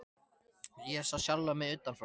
Ég sá sjálfa mig utan frá.